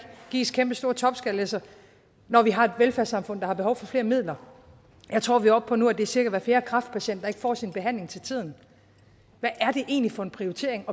gives kæmpestore topskattelettelser når vi har et velfærdssamfund der har behov for flere midler jeg tror vi er oppe på nu at det er cirka hver fjerde kræftpatient der får sin behandling til tiden hvad er det egentlig for en prioritering